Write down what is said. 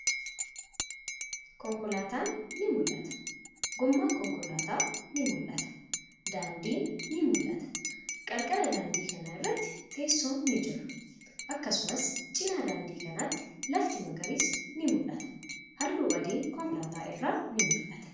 Konkolaatan ni mul'ata. Goomman konkolaataa ni mul'ata. Daandin ni mul'ata. Qarqara daandii kanaa irratti teesson ni jira. Akkasumas, cinaa daandii kanatti lafti magariisni ni mul'ata. Haalluu adiin konkolaataa irraa ni mul'ata.